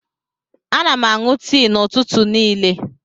Ana m aṅụ tii n'ụtụtụ niile.